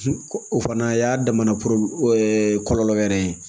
O fana y'a damana kɔlɔlɔ wɛrɛ ye